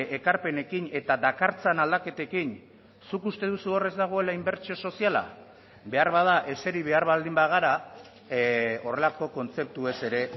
ekarpenekin eta dakartzan aldaketekin zuk uste duzu hor ez dagoela inbertsio soziala beharbada eseri behar baldin bagara horrelako kontzeptuez ere